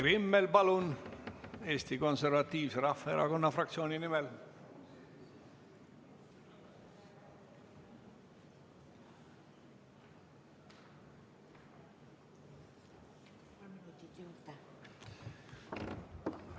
Kai Rimmel Eesti Konservatiivse Rahvaerakonna fraktsiooni nimel, palun!